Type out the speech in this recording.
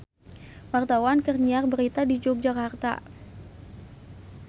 Wartawan keur nyiar berita di Yogyakarta